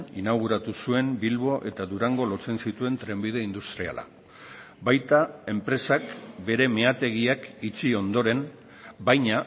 inauguratu zuen bilbo eta durango lotzen zituen trenbide industriala baita enpresak bere meategiak itxi ondoren baina